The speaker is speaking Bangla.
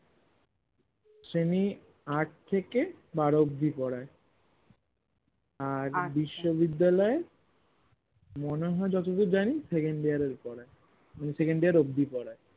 শ্রেণী আট থেকে বারো অব্দি পরায় আর বিশ্ববিদ্যালয়ে মনেহয় যতদূর জানি second year এর পরায় মানে second year অব্দি পরায়ে